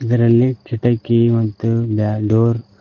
ಇದರಲ್ಲಿ ಕಿಟಕಿ ಮತ್ತು ಬ್ಯಾ ಡೋರ್ --